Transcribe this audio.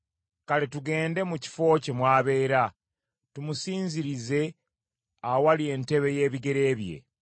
Kale tugende mu kifo kye mw’abeera, tumusinzirize awali entebe y’ebigere bye.